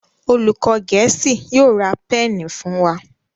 olùkó gèésì yóò rá Pẹ́ẹ̀nì fún wá.